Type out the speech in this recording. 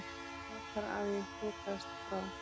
Frekar að ég þokaðist frá.